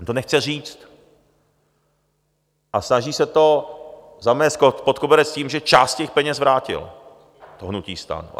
On to nechce říct a snaží se to zamést pod koberec tím, že část těch peněz vrátilo, to hnutí STAN.